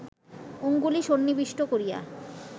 অঙ্গুলি সন্নিবিষ্ট করিয়া